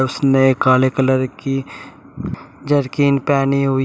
उसने काले कलर की जरकिन पहनी हुई है।